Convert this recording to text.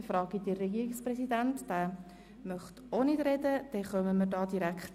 – Das ist nicht der Fall, und auch der Regierungspräsident verzichtet auf das Wort.